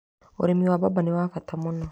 Ũrĩmi wa mbamba nĩ wa bata mũno.